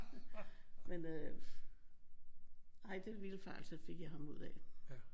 Men øh ej den vildfarelse fik jeg ham ud af